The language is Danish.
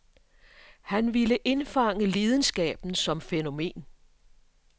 Han ville indfange lidenskaben som fænomen.